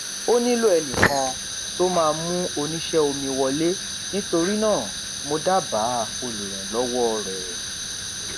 ó nílò ẹnì kan tó máa mú oníṣé omi wọlé nítorí náà mo dábáà olùrànlówó rẹ